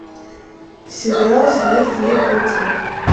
сериал смерть ей к лицу